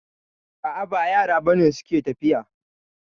A'a ba yara ba ne suke tafiya